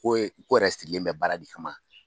Ko ye ko yɛrɛ sigilen bɛ baara de kama.